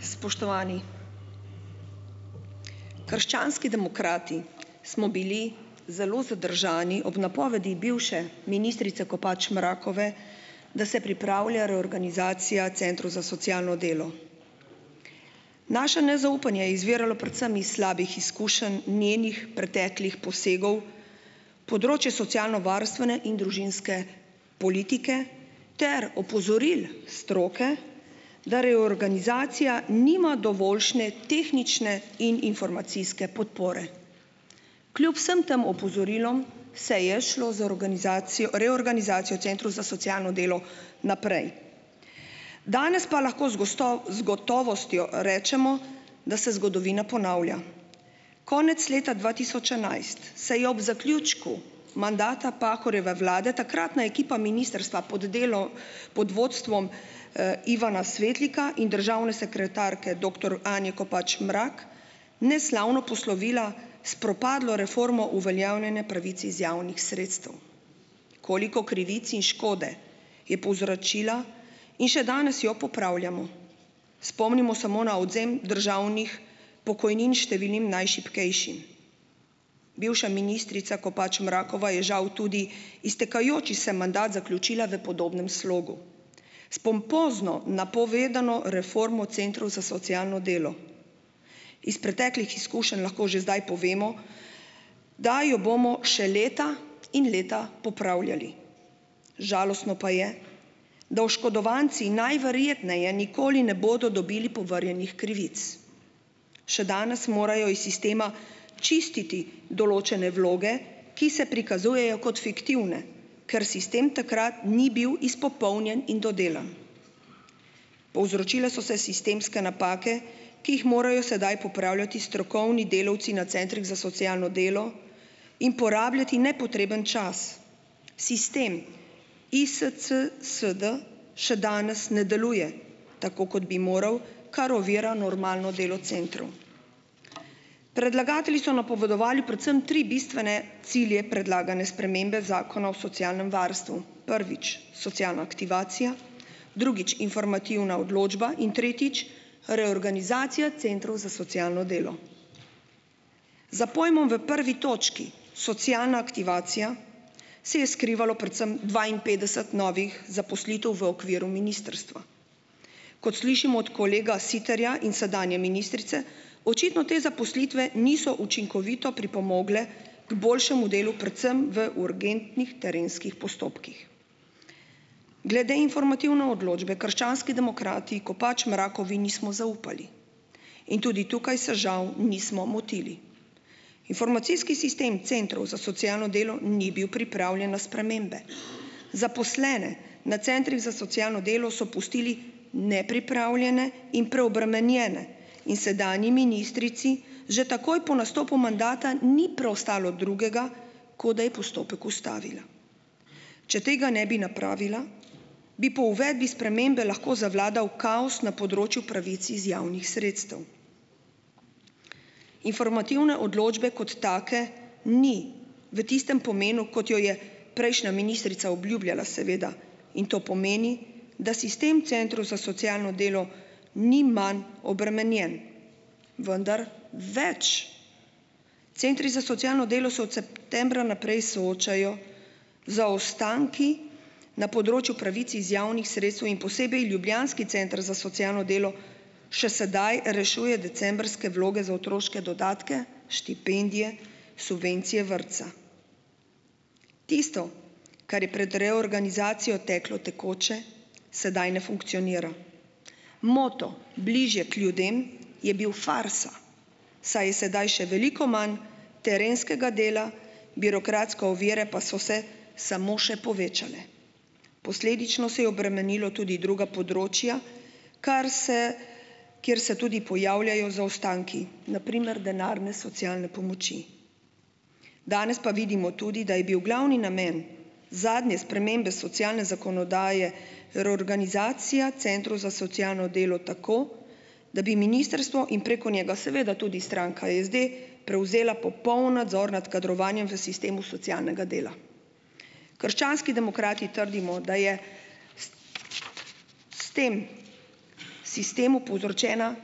Spoštovani! Krščanski demokrati smo bili zelo zadržani ob napovedi bivše ministrice Kopač Mrakove, da se pripravlja reorganizacija centrov za socialno delo. Naše nezaupanje je izviralo predvsem iz slabih izkušenj njenih preteklih posegov, področje socialnovarstvene in družinske politike ter opozoril stroke, da reorganizacija nima dovoljšne tehnične in informacijske podpore. Kljub vsem tem opozorilom se je šlo za organizacijo reorganizacijo centrov za socialno delo naprej. Danes pa lahko z z gotovostjo rečemo, da se zgodovina ponavlja. Konec leta dva tisoč enajst, se je ob zaključku mandata Pahorjeve Vlade takratna ekipa ministrstva pod delo pod vodstvom, Ivana Svetlika in državne sekretarke, doktor Anje Kopač Mrak neslavno poslovila s propadlo reformo uveljavljanja pravic iz javnih sredstev. Koliko krivic in škode je povzročila in še danes jo popravljamo. Spomnimo samo na odvzem državnih pokojnin številnim najšibkejšim. Bivša ministrica Kopač Mrakova je žal tudi iztekajoči se mandat zaključila v podobnem slogu, s pompozno napovedano reformo centrov za socialno delo. Iz preteklih izkušenj lahko že zdaj povemo, da jo bomo še leta in leta popravljali. Žalostno pa je, da oškodovanci najverjetneje nikoli ne bodo dobili povrnjenih krivic. Še danes morajo iz sistema čistiti določene vloge, ki se prikazujejo kot fiktivne, ker sistem takrat ni bil izpopolnjen in dodelan. Povzročile so se sistemske napake, ki jih morajo sedaj popravljati strokovni delavci na centrih za socialno delo in porabljati nepotreben čas, sistem ISCSD še danes ne deluje tako, kot bi moral, kar ovira normalno delo centrov. Predlagatelji so napovedovali predvsem tri bistvene cilje predlagane spremembe Zakona o socialnem varstvu. Prvič, socialna aktivacija, drugič, informativna odločba, in tretjič, reorganizacija centrov za socialno delo. Za pojmom v prvi točki, socialna aktivacija, se je skrivalo predvsem dvainpetdeset novih zaposlitev v okviru ministrstva. Kot slišimo od kolega Siterja in sedanje ministrice, očitno te zaposlitve niso učinkovito pripomogle k boljšemu delu predvsem v urgentnih terenskih postopkih. Glede informativne odločbe krščanski demokrati Kopač Mrakovi nismo zaupali in tudi tukaj se žal nismo motili. Informacijski sistem centrov za socialno delo ni bil pripravljen na spremembe. Zaposlene na centrih za socialno delo so pustili nepripravljene in preobremenjene in sedanji ministrici že takoj po nastopu mandata ni preostalo drugega, kot da je postopek ustavila. Če tega ne bi napravila, bi po uvedbi spremembe lahko zavladal kaos na področju pravic iz javnih sredstev. Informativne odločbe kot take ni, v tistem pomenu, kot jo je prejšnja ministrica obljubljala, seveda, in to pomeni, da sistem centrov za socialno delo ni manj obremenjen, vendar več. Centri za socialno delo so od septembra naprej soočajo z zaostanki na področju pravic iz javnih sredstev in posebej ljubljanski center za socialno delo še sedaj rešuje decembrske vloge za otroške dodatke, štipendije, subvencije vrtca. Tisto, kar je pred reorganizacijo teklo tekoče, sedaj ne funkcionira. Moto "bližje k ljudem" je bil farsa, saj je sedaj še veliko manj terenskega dela, birokratske ovire pa so se samo še povečale. Posledično se je obremenilo tudi druga področja, kar se, kjer se tudi pojavljajo zaostanki - na primer denarne socialne pomoči. Danes pa vidimo tudi, da je bil glavni namen zadnje spremembe socialne zakonodaje reorganizacija centrov za socialno delo tako, da bi ministrstvo in preko njega seveda tudi stranka SD prevzela popoln nadzor nad kadrovanjem v sistemu socialnega dela. Krščanski demokrati trdimo, da je s tem sistemu povzročena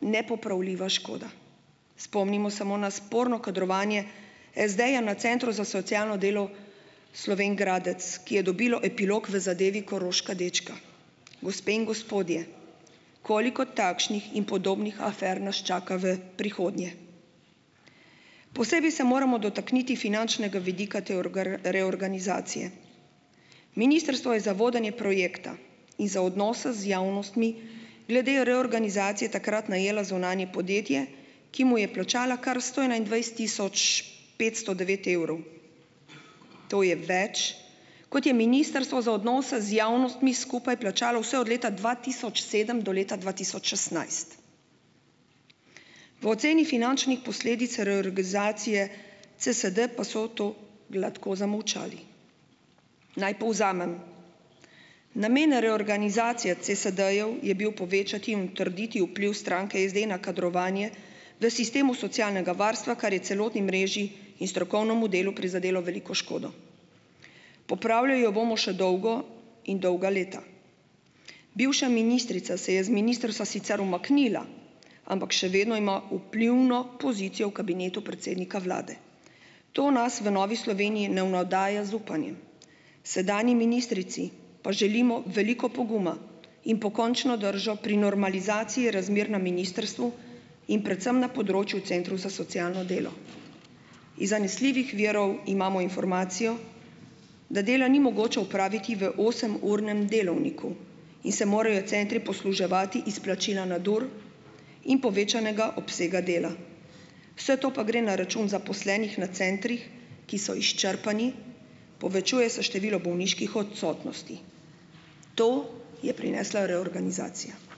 nepopravljiva škoda. Spomnimo samo na sporno kadrovanje SD-ja na centru za socialno delo Slovenj Gradec, ki je dobilo epilog v zadevi Koroška dečka. Gospe in gospodje, koliko takšnih in podobnih afer nas čaka v prihodnje? Posebej se moramo dotakniti finančnega vidika te reorganizacije. Ministrstvo je za vodenje projekta in za odnose z javnostmi glede reorganizacije takrat najelo zunanje podjetje, ki mu je plačalo kar sto enaindvajset tisoč petsto devet evrov. To je več, kot je ministrstvo za odnose z javnostmi skupaj plačalo vse od leta dva tisoč sedem do leta dva tisoč šestnajst. V oceni finančnih posledic reorganizacije CSD pa so to gladko zamolčali. Naj povzamem. Namen reorganizacije CSD-jev je bil povečati in utrditi vpliv stranke SD na kadrovanje v sistemu socialnega varstva, kar je celotni mreži in strokovnemu delu prizadelo veliko škodo. Popravljali jo bomo še dolgo in dolga leta. Bivša ministrica se je z ministrstva sicer umaknila, ampak še vedno ima vplivno pozicijo v kabinetu predsednika vlade. To nas v Novi Sloveniji ne navdaja z upanjem. Sedanji ministrici pa želimo veliko poguma in pokončno držo pri normalizaciji razmer na ministrstvu in predvsem na področju centrov za socialno delo. Iz zanesljivih virov imamo informacijo, da dela ni mogoče opraviti v osemurnem delovniku in se morajo centri posluževati izplačila nadur in povečanega obsega dela. Vse to pa gre na račun zaposlenih na centrih, ki so izčrpani, povečuje se število bolniških odsotnosti. To je prinesla reorganizacija.